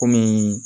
Kɔmi